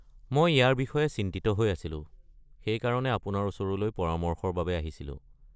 মই ইয়াৰ বিষয়ে চিন্তিত হৈ আছিলোঁ, সেইকাৰণে আপোনাৰ ওচৰলৈ পৰামৰ্শৰ বাবে আহিছিলোঁ।